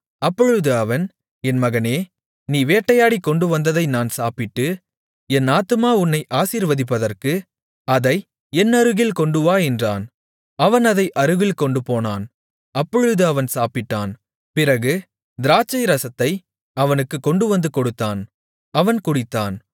அப்பொழுது அவன் என் மகனே நீ வேட்டையாடிக் கொண்டுவந்ததை நான் சாப்பிட்டு என் ஆத்துமா உன்னை ஆசீர்வதிப்பதற்கு அதை என்னருகில் கொண்டுவா என்றான் அவன் அதை அருகில் கொண்டுபோனான் அப்பொழுது அவன் சாப்பிட்டான் பிறகு திராட்சைரசத்தை அவனுக்குக் கொண்டுவந்து கொடுத்தான் அவன் குடித்தான்